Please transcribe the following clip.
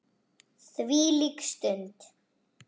Þvílík stund!